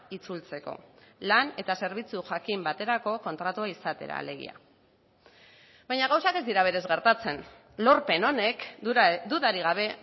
itzultzeko lan eta zerbitzu jakin baterako kontratua izatera alegia baina gauzak ez dira berez gertatzen lorpen honek dudarik gabe